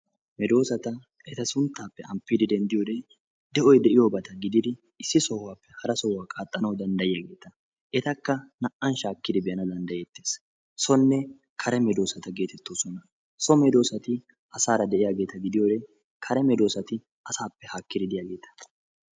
Medoossata eta sunttaappe amppidi denddiyode de'oy de'iyobata gididi issi sohuwappe hara sohuwa qaaxxanawu danddayiyageeta. Etakka naa"an shaakkidi be'ana danddayettees. Sonne kare medoossata geetettoosona. So medoossati asaara de'iyageeta gidiyode kare medoossati asaappe haakkidi de'iyageeta.